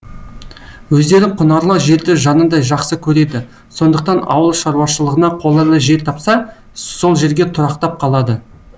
өздері құнарлы жерді жанындай жақсы көреді сондықтан ауыл шаруашылығына қолайлы жер тапса сол жерге тұрақтап қалады